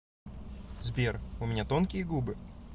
сбер у меня тонкие губы